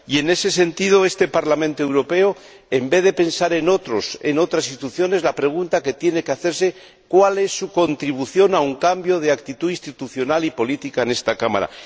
Y en ese sentido, este Parlamento Europeo, en vez de pensar en otros, en otras instituciones, la pregunta que tiene que hacerse es cuál es su contribución a un cambio de actitud institucional y política en esta Cámara.